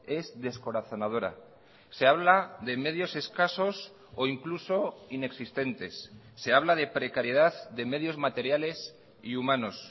es descorazonadora se habla de medios escasos o incluso inexistentes se habla de precariedad de medios materiales y humanos